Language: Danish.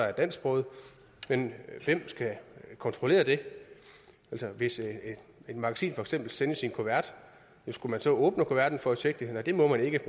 er dansksproget men hvem skal kontrollere det altså hvis et magasin for eksempel sendes i en kuvert skulle man så åbne kuverten for at tjekke det nej det må man ikke